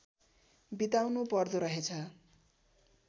बिताउनु पर्दोरहेछ